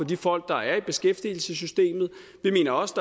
de folk der er i beskæftigelsessystemet vi mener også